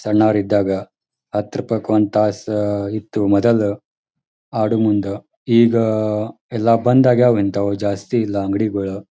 ಸಣ್ಣೌರಿದ್ದಾಗ ಹತ್ರುಪಾಯಿಕ್ ಒಂದ ತಾಸ ಇತ್ತ ಮೊದಲ ಆಡೂ ಮುಂದ ಈಗ ಎಲ್ಲ ಬಂದ್ ಅಗ್ಯಾವು ಇಂಥಾವು ಜಾಸ್ತಿ ಇಲ್ಲ ಅಂಗಡಿಗೊಳ.